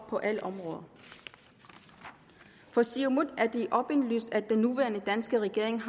på alle områder for siumut er det åbenlyst at den nuværende danske regerings